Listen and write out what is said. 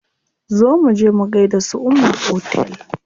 Zo muje mu gaida su umma a otel.